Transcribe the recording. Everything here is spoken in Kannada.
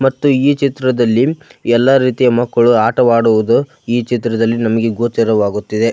ಮತ್ತು ಈ ಚಿತ್ರದಲ್ಲಿ ಎಲ್ಲ ರೀತಿಯ ಮಕ್ಕಳು ಆಟವಾಡುವುದು ಈ ಚಿತ್ರದಲ್ಲಿ ನಮಗೆ ಗೋಚರವಾಗುತ್ತಿದೆ.